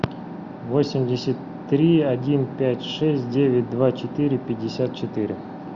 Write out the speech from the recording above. восемьдесят три один пять шесть девять два четыре пятьдесят четыре